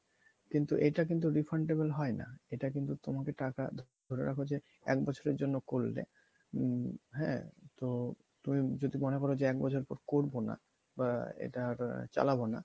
কিন্তু এটা কিন্তু refundable হয় না এটা কিন্তু তোমাকে টাকা ধরে রাখো যে এক বছরের জন্য করলে উম হ্যাঁ ? তো তুমি যদি মনে করো যে এক বছর পর করবো না বা এটা আহ চালাবো না